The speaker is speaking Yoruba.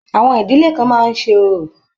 Àwọn ìdílé kan máa ń ṣe orò.